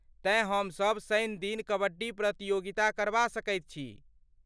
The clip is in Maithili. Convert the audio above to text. तेँ हमसभ शनिदिन कबड्डी प्रतियोगिता करबा सकैत छी।